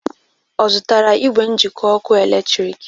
Ọ zụtara igwe njịkọ ọkụ eletrik?